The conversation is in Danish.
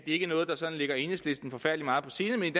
ikke er noget der ligger enhedslisten forfærdelig meget på sinde men